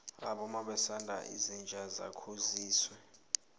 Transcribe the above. abomma basaba inja yakosizwe